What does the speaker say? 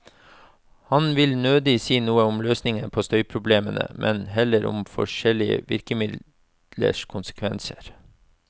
Han vil nødig si noe om løsninger på støyproblemene, men heller om forskjellige virkemidlers konsekvenser.